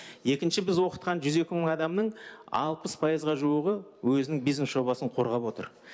екінші біз оқытқан жүз екі мың адамның алпыс пайызға жуығы өзінің бизнес жобасын қорғап отыр